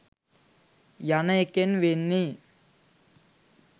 යන එකෙන් වෙන්නේ